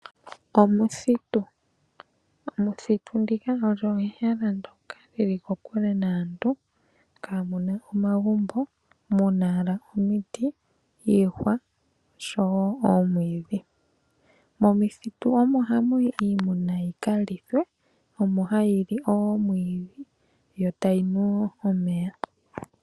Omuthitu, omuthitu ndika olyo ehala ndyoka lili kokule naantu kamuna omagumbo omuna owala omiti, iihwa oshowo oomwiidhi. Momuthitu omo hamuyi iimuna yikalithwe omo hayili oomwiidhi yo tayinu omeya.